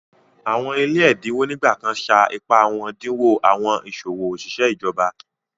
Awọn ile èdínwò nígbàkàn ṣá ìpá wọn dínwò awọn iṣọwọ oṣiṣẹ̀ ìjọ̀bà